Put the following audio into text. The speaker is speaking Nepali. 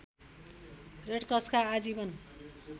रेडक्रसका आजीवन